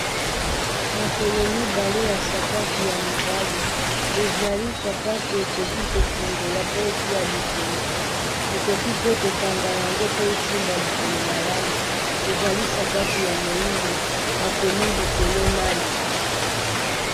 Makolo mibale ya sapatu ya mibali ezali sapatu okoki kofungola po tia likolo okoki pe kokanga yango po esimba likolo malamu ezali sapatu ya moyindo bakomi likolo Nike.